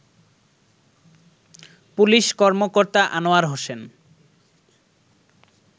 police কর্মকর্তা আনোয়ার হোসেন